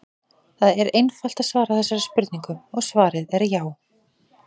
Það er einfalt að svara þessari spurningu og svarið er já!